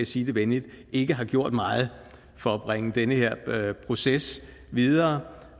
sige det venligt ikke har gjort meget for at bringe den her proces videre